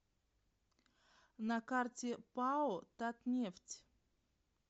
на карте пао татнефть